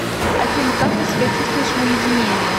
афина как ты себя чувствуешь в уединении